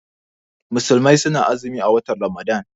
Musulmai su na azumi a watan Ramadan